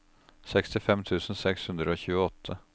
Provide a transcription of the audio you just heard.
sekstifem tusen seks hundre og tjueåtte